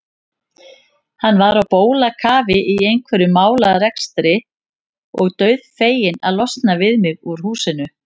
Hann var á bólakafi í einhverjum málarekstri og dauðfeginn að losna við mig úr húsinu.